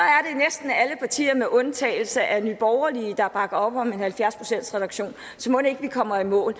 er med undtagelse af nye borgerlige der bakker op om en halvfjerds procentsreduktion så mon ikke vi kommer i mål